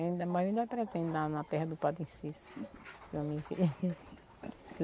Ainda mais eu ainda andar na terra do Padre Cícero.